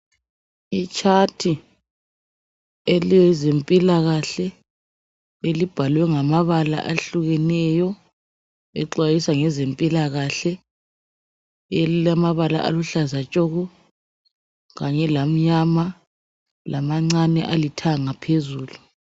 Itshathi elezempilakhahle elibhalwe ngamabala ahlukeneyo exwayisa ngezempilakahle elilamabala aluhlaza tshoko kanye lamnyama lamancane alithanga phezulu.